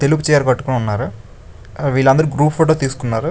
తెలుపు చీర కట్టుకుని ఉన్నారు. వీళ్ళుందరు గ్రూప్ ఫోటో తీసుకున్నారు.